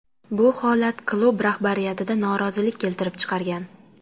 Bu holat klub rahbariyatida norozilik keltirib chiqargan.